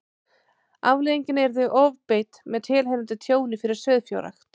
Afleiðingin yrði ofbeit með tilheyrandi tjóni fyrir sauðfjárrækt.